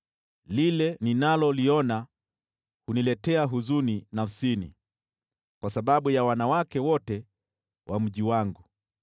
Lile ninaloliona huniletea huzuni nafsini kwa sababu ya wanawake wote wa mji wangu.